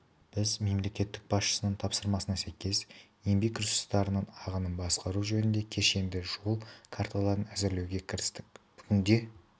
біз мемлекет басшысының тапсырмасына сәйкес еңбек ресурстарының ағынын басқару жөнінде кешенді жол карталарын әзірлеуге кірістік бүгінде